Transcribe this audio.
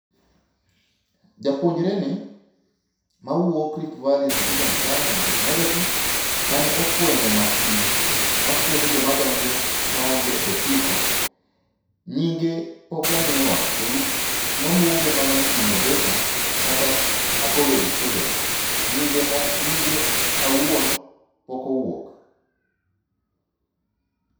Japuonjreni mawuok Rift Valley Institute of Science and Technology (RVIST) mane ofuenyo masin mafuenyo jomadonjo maonge otiko, nyinge pok omiwa. Olu ne oluonge mana ni innovator kata a college student nyinge awuon pok owuok.